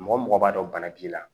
Mɔgɔ mɔgɔ b'a dɔn bana b'i la